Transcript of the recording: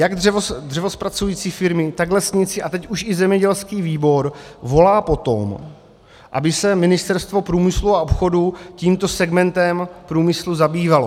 Jak dřevozpracující firmy, tak lesníci a teď už i zemědělský výbor volají po tom, aby se Ministerstvo průmyslu a obchodu tímto segmentem průmyslu zabývalo.